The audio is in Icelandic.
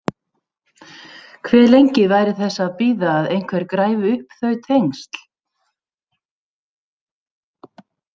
Hve lengi væri þess að bíða að einhver græfi upp þau tengsl?